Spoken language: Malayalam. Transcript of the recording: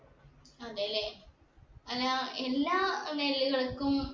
അതെ ല്ലേ അല്ല എല്ലാ നെല്ലുകൾക്കും